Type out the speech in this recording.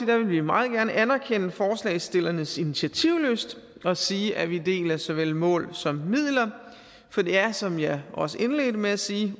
vil vi meget gerne anerkende forslagsstillernes initiativlyst og sige at vi deler såvel mål som midler for det er som jeg også indledte med at sige